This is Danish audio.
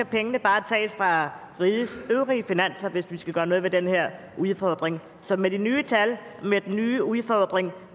pengene bare tages fra rigets øvrige finanser hvis vi skal gøre noget ved den her udfordring så med de nye tal med den nye udfordring